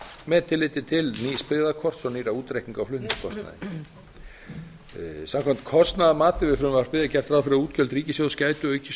með tilliti til nýs byggðakorts og nýrra útreikninga á flutningskostnaði samkvæmt kostnaðarmati við frumvarpið er gert ráð fyrir að útgjöld ríkissjóðs gætu aukist